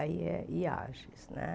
Aí é Iajes né